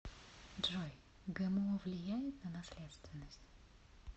джой гмо влияет на наследственность